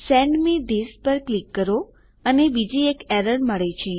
send me this પર click કરો અને બીજી એક એરર મળે છે